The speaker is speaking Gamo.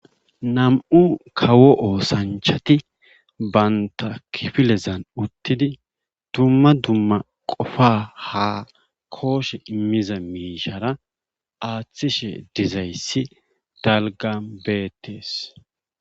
Nam'u kawo oosanchati bantta kifilean utidi dumma dumma qofa kooshe imiza miishshara aatishe dizayssi dalggan beetees.